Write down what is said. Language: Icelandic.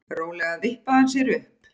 Rólega vippaði hann sér upp.